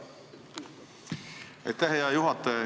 Aitäh, hea juhataja!